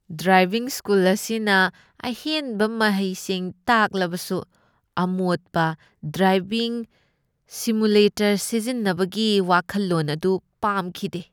Driving school ꯑꯁꯤꯅ ꯑꯍꯦꯟꯕ ꯃꯍꯩꯁꯤꯡ ꯇꯥꯛꯂꯕꯁꯨ, ꯑꯃꯣꯠꯄ ꯗ꯭ꯔꯥꯏꯚꯤꯡ ꯁꯤꯃꯨꯂꯦꯇꯔ ꯁꯤꯖꯤꯟꯅꯕꯒꯤ ꯋꯥꯈꯜꯂꯣꯟ ꯑꯗꯨ ꯄꯥꯝꯈꯤꯗꯦ ꯫